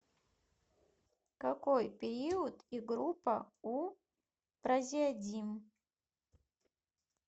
какой период и группа у празеодим